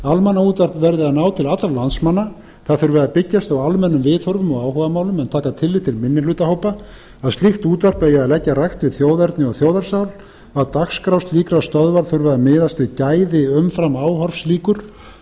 almannaútvarp verði að ná til allra landsmanna það þurfi að byggjast á almennum viðhorfum og áhugamálum en taka tillit til minnihlutahópa að slíkt útvarp eigi að leggja rækt við þjóðerni og þjóðarsál að dagskrár slíkra stöðva þurfi að miðast við gæði eða umframáhorfslíkur og